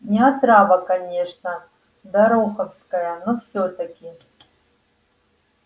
не отрава конечно дороховская но всё-таки